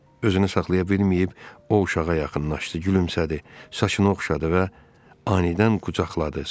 Özünü saxlaya bilməyib o uşağa yaxınlaşdı, gülümsədi, saçını oxşadı və anidən qucaqladı.